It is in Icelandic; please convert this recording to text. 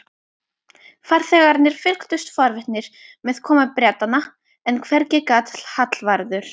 Farþegarnir fylgdust forvitnir með komu Bretanna, en hvergi gat Hallvarður